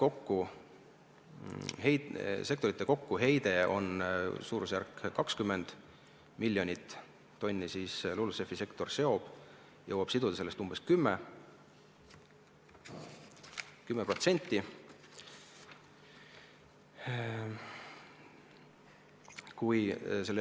Kui sektorite koguheide on umbes 20 miljonit tonni, siis LULUCF-i sektor jõuab sellest siduda umbes 10%.